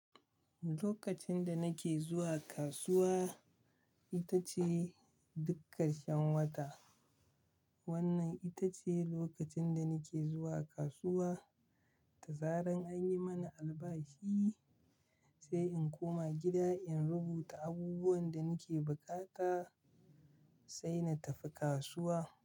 Lokacin da nake zuwa kasuwa, ita ce dukkan karshan wata. Wannan ita ce lokacin da nake zuwa kasuwa da zaran an yi mana albashi, sai in koma gida in rubuta abubuwan da nake bukata sai na tafi kasuwa.